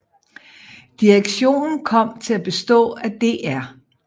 Direktionen kom til at bestå af Dr